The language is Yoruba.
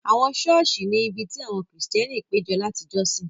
Àwọn ṣọ́ọ̀ṣì ni ibi tí àwọn Kristẹni péjọ láti jọ́sìn.